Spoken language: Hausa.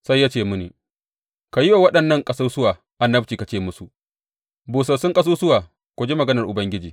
Sai ya ce mini, Ka yi wa waɗannan ƙasusuwa annabci ka ce musu, Busassun ƙasusuwa, ku ji maganar Ubangiji!